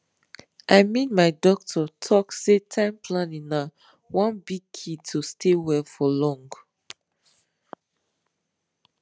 i mean my doctor talk say time planning na one big key to stay well for long